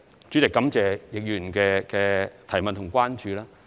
主席，感謝易議員的補充質詢和關注。